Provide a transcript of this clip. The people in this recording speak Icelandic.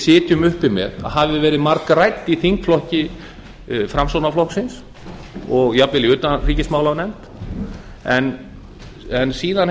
sitjum uppi með hafi verið margrædd í þingflokki framsfl og jafnvel í utanríkismálanefnd en síðan